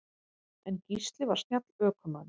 En Gísli var snjall ökumaður.